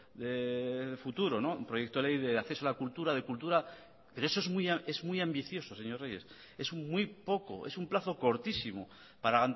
de futuro un proyecto de ley de acceso a la cultura de cultura pero eso es muy ambicioso señor reyes es muy poco es un plazo cortísimo para